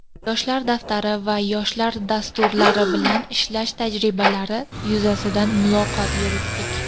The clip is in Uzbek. "Yoshlar daftari" va "Yoshlar dastur"lari bilan ishlash tajribalari yuzasidan muloqot qurdik.